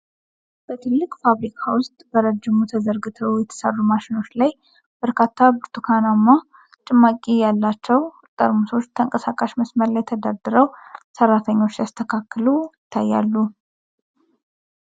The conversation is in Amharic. በትልቅ ፋብሪካ ውስጥ በረጅሙ ተዘርግተው በተሠሩ ማሽኖች ላይ፣ በርካታ ብርቱካንማ ጭማቂ ያላቸው ጠርሙሶች ተንቀሳቃሽ መስመር ላይ ተደርድረው ሰራተኞች ሲያስተካክሉ ይታያሉ።